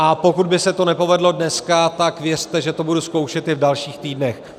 A pokud by se to nepovedlo dneska, tak věřte, že to budu zkoušet i v dalších týdnech.